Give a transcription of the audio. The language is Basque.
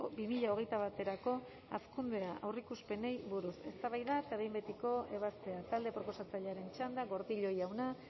bi mila hogeita baterako hazkunde aurreikuspenei buruz eztabaida eta behin betiko ebazpena talde proposatzailearen txanda gordillo jauna